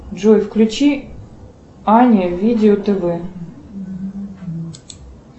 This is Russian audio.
джой включи ани видео тв